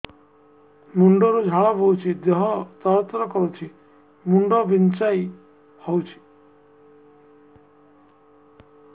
ମୁଣ୍ଡ ରୁ ଝାଳ ବହୁଛି ଦେହ ତର ତର କରୁଛି ମୁଣ୍ଡ ବିଞ୍ଛାଇ ହଉଛି